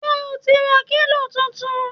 Ṣé o ti ra kílò tuntun!